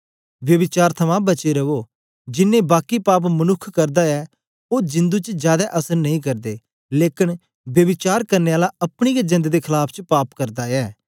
ब्यभिचार थमां बचे रवो जिन्नें बाकी पाप मनुक्ख करदा ऐ ओ जिंदु च जादै असर नेई करदे लेकन ब्यभिचार करने आला अपनी गै जेंद दे खलाफ च पाप करदा ऐ